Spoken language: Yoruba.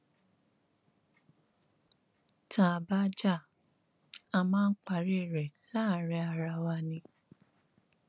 tá a bá já a máa ń parí ẹ láàrin ara wa náà ni